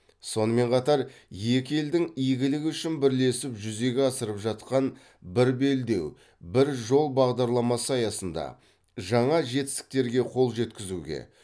сонымен қатар екі елдің игілігі үшін бірлесіп жүзеге асырып жатқан бір белдеу бір жол бағдарламасы аясында жаңа жетістіктерге қол жеткізуге